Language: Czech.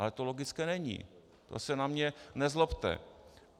Ale to logické není, to se na mě nezlobte.